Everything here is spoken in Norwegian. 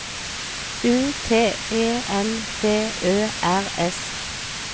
U T E N D Ø R S